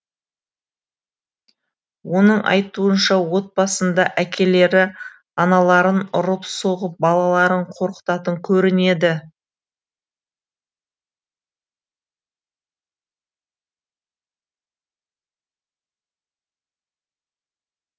оның айтуынша отбасында әкелері аналарын ұрып соғып балаларын қорқытатын көрінеді